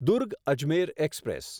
Durg Ajmer express